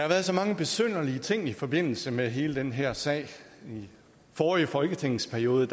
været så mange besynderlige ting i forbindelse med hele den her sag i forrige folketingsperiode